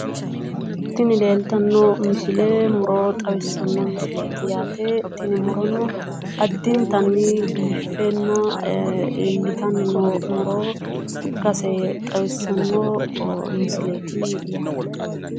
Tini leeltanno misile muro xawissanno misileeti yaate, tini murono addintay biiffenna iillitanni no muro ikkase xawissanno misileeti yaate.